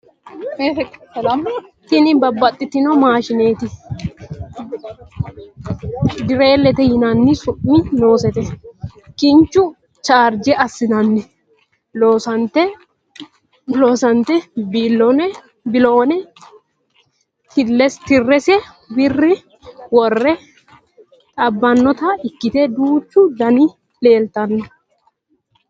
tini babbaxitinno maashshineeti dirillete yinanni su'mi noosete kinchu charjje assineenna loossannote biloone tii'i ise worre ximbannita ikkite duuchu dniti leeltanno